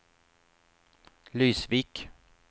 Lysvik